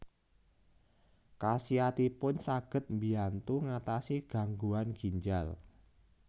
Khasiatipun saged mbiyantu ngatasi gangguan ginjal